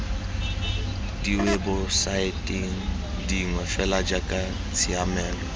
diwebosaeteng dingwe fela jaaka tshiamelo